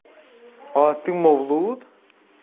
а ты мавлуд